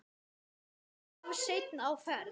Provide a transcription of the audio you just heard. Of seinn á ferð?